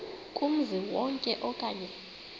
kumzi wonke okanye